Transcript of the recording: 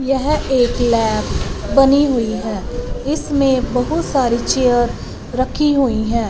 यह एक लैब बनी हुई है इसमें बहुत सारी चेयर रखी हुई है।